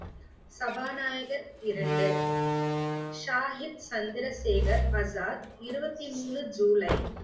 சபாநாயகர் இரண்டு, ஷாகித் சந்திரசேகர் ஆசாத் இருபத்தி மூணு ஜூலை